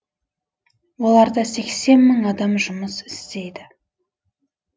оларда сексен мың адам жұмыс істейді